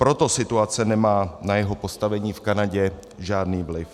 Proto situace nemá na jeho postavení v Kanadě žádný vliv.